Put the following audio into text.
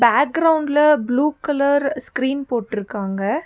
பேக்ரவுண்ட்ல blue colour screen போட்டிருக்காங்க.